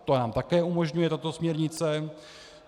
To nám také umožňuje tato směrnice.